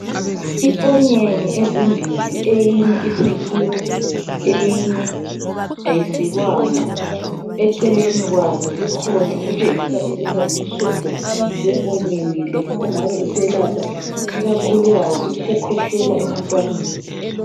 i onyeni ezimbili eyinye isikiwe eyinye ayisikwanga kukhona okutshengisa ukuba ngumsobho we onion le ongabe uselapha ikakhulukazi ukukhwehlela kuba ntwana